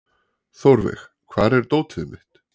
Þórveig, hvar er dótið mitt?